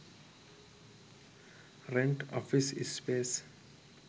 rent office space